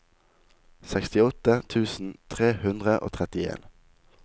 sekstiåtte tusen tre hundre og trettien